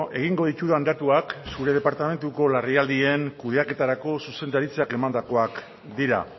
egingo ditudan datuak zure departamentuko larrialdien kudeaketarako zuzendaritzak emandakoak dira